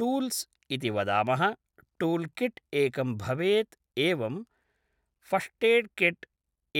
tools इति वदामः tool kit एकं भवेत् एवं फ़ष्टेड् किट्